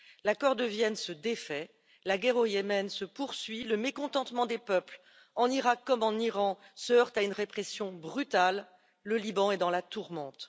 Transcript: L'accord de Vienne se défait, la guerre au Yémen se poursuit, le mécontentement des peuples en Iraq comme en Iran se heurte à une répression brutale, le Liban est dans la tourmente.